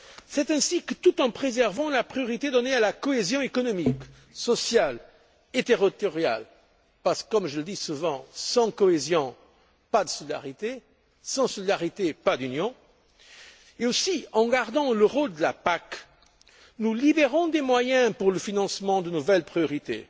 C'est ainsi que, tout en préservant la priorité donnée à la cohésion économique, sociale et territoriale parce que, comme je le dis souvent, sans cohésion, pas de solidarité, et sans solidarité, pas d'Union et aussi en gardant le rôle de la PAC, nous libérons des moyens pour le financement de nouvelles priorités,